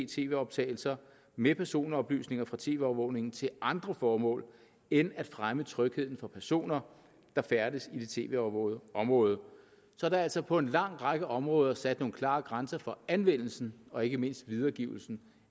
tv optagelser med personoplysninger fra tv overvågning til andre formål end at fremme trygheden for personer der færdes i det tv overvågede område så der er altså på en lang række områder sat nogle klare grænser for anvendelsen og ikke mindst videregivelsen